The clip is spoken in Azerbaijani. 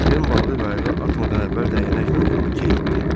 Den balığı qayıqa atmadan əvvəl dəyənəklə vurub keyitdi.